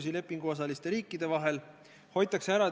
See on üks võimalus teerulliga üle sõita, aga see selleks.